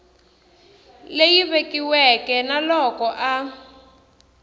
leyi vekiweke na loko a